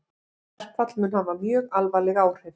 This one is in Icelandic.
Verkfall mun hafa mjög alvarleg áhrif